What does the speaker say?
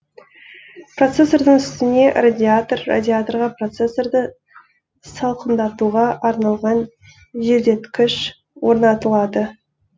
процессордың үстіне радиатор радиаторға процессорды салқындатуға арналған желдеткіш орнатылады